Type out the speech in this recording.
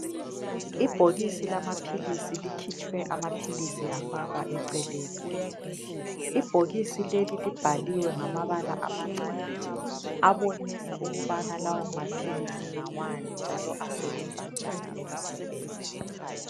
Ibhokisi lamaphilisi likhitshwe amaphilisi afakwa eceleni. Ibhokisi leli libhaliwe ngamabala amancane abonisa ukubana lawo maphilisi ngawani njalo asebenza njani emzimbeni.